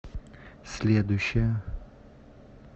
следующая